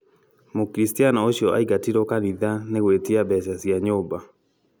Mũkristiano ũcio aingatirwo kanitha nĩgũĩtie mbeca cia nyũmba